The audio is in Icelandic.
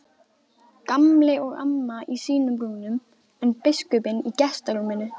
Gamli og amma í sínum rúmum en biskupinn í gestarúminu.